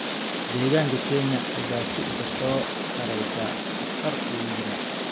Deegaanka Kenya ayaa si isa soo taraysa khatar ugu jira.